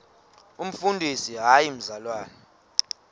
umfundisi hayi mzalwana